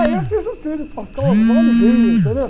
Aí eu fiz um tríduo pascal com a maior alegria, entendeu?